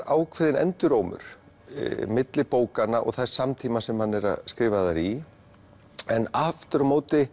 ákveðinn endurómur milli bókanna og þess samtíma sem þær eru skrifaðar í en aftur á móti